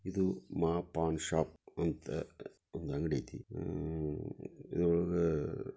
ಇದು ಮಾ ಪಾನ್ ಶಾಪ್ ಅಂತ ಅ ಒಂದ್ ಅಂಗಡಿ ಐತಿ. ಅಹ್ ಇದ್ರೊಳಗ --